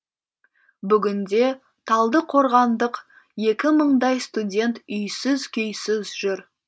бүгінде талдықорғандық екі мыңдай студент үйсіз күйсіз жүр